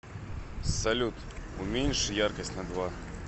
салют уменьши яркость на два